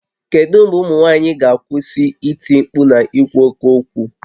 Kedu mgbe ụmụ nwaanyị ga-akwụsị iti mkpu na ikwu oke okwu?